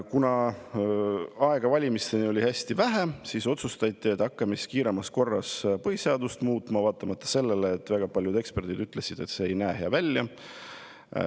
Kuna aega valimisteni oli hästi vähe, siis otsustati, et hakkame kiiremas korras põhiseadust muutma, vaatamata sellele, et väga paljud eksperdid ütlesid, et see ei näe hea välja.